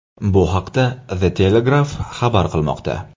Bu haqda The Telegraph xabar qilmoqda .